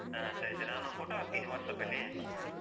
ಹ ಸರಿ ಸರಿ. ನಾನು photo ಹಾಕ್ತೀನಿ WhatsApp ಲ್ಲಿ.